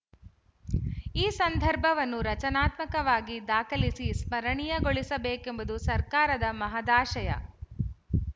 ಈ ಸಂದರ್ಭವನ್ನು ರಚನಾತ್ಮಕವಾಗಿ ದಾಖಲಿಸಿ ಸ್ಮರಣೀಯಗೊಳಿಸಬೇಕೆಂಬುದು ಸರ್ಕಾರದ ಮಹದಾಶಯ